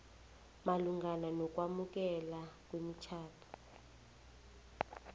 malungana nokwamukelwa kwemitjhado